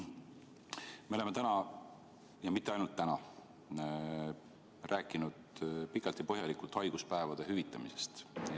Me oleme täna, ja mitte ainult täna, rääkinud pikalt ja põhjalikult haiguspäevade hüvitamisest.